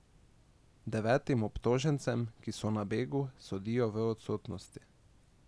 Devetim obtožencem, ki so na begu, sodijo v odsotnosti.